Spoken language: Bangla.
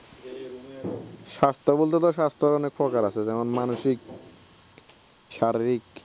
স্বাস্থ্য বলতে তো স্বাস্থ্যর অনেক প্রকার আছে যেমন মানসিক শারীরিক